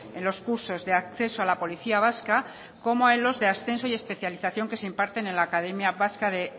en los cursos de acceso a la policía vasca como en los de ascenso y especialización que se imparten en la academia vasca de